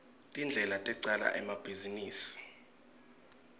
tindlela tecala emabhizinisi